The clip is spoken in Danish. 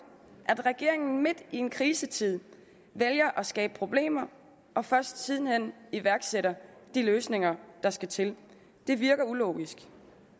at regeringen midt i en krisetid vælger at skabe problemer og først siden hen iværksætter de løsninger der skal til det virker ulogisk